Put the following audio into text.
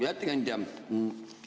Hea ettekandja!